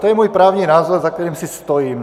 To je můj právní názor, za kterým si stojím.